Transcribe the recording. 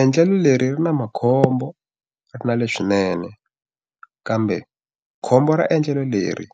Endlelo leri ri na makhombo ri na le swinene. Kambe khombo ra endlelo leri